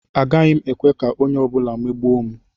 Agaghị m ekwe ka onye ọ bụla megbuo m.